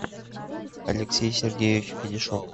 алексей сергеевич федяшов